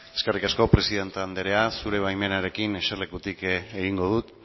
eskerrik asko presidente andrea zure baimenarekin eserlekutik egingo dut